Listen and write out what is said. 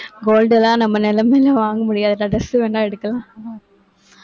gold எல்லாம் நம்ம நிலைமையிலே வாங்க முடியாது. dress வேணா எடுக்கலாம்.